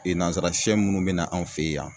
nansara sɛ munnu bɛ na anw fe yen